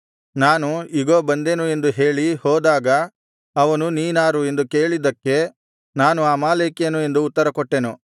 ನಾನು ಇಗೋ ಬಂದೆನು ಎಂದು ಹೇಳಿ ಹೋದಾಗ ಅವನು ನೀನಾರು ಎಂದು ಕೇಳಿದ್ದಕ್ಕೆ ನಾನು ಅಮಾಲೇಕ್ಯನು ಎಂದು ಉತ್ತರಕೊಟ್ಟೆನು